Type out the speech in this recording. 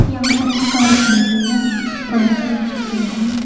यहां पर एक कार खड़ी हुई है कार का रंग सफेद है।